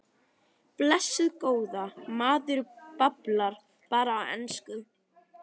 Blessuð góða. maður bablar bara á ensku.